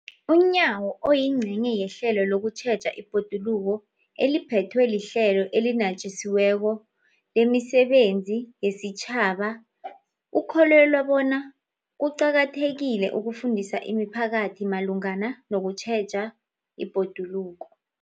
UNyawo, oyingcenye yehlelo lokutjheja ibhoduluko eliphethwe liHlelo eliNatjisi weko lemiSebenzi yesiTjhaba, ukholelwa bona kuqakathekile ukufundisa imiphakathi malungana nokutjheja ibhoduluko.